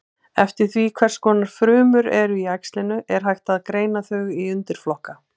Eftir því hvers konar frumur eru í æxlinu er hægt að greina þau í undirflokka.